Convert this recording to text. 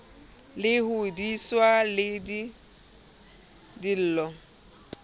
le hodiswa le ke dillo